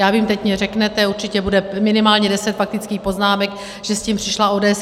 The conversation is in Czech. Já vím, teď mi řeknete, určitě bude minimálně deset faktických poznámek, že s tím přišla ODS.